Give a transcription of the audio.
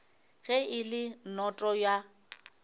ge e le noto ya